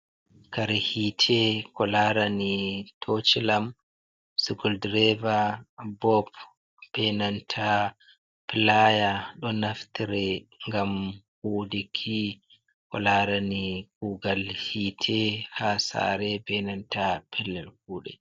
Kare hite ko larani tochilam, skriwdreva, bob be nanta playa ɗo naftire ngam kudiki ko larani kugal hite ha sare ɓe nanta pellel kuɗe.